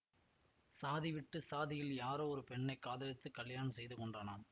சாதி விட்டு சாதியில் யாரோ ஒரு பெண்ணை காதலித்துக் கலியாணம் செய்து கொண்டானாம்